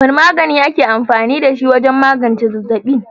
Wane magani ake amfani da shi wajen magance zazzaɓi?